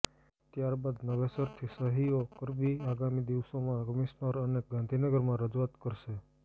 ત્યારબાદ નવેસરથી સહીઓ કરાવી આગામી દિવસોમાં કમિશનર અને ગાંધીનગરમાં રજૂઆત કરશે